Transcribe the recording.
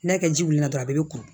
N'a kɛ ji wuli la dɔrɔn a bɛ kuru